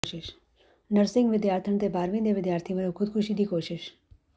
nursing ਵਿਦਿਆਰਥਣ ਤੇ ਬਾਰ੍ਹਵੀਂ ਦੇ ਵਿਦਿਆਰਥੀ ਵੱਲੋਂ ਖ਼ੁਦਕੁਸ਼ੀ ਦੀ ਕੋਸ਼ਿਸ਼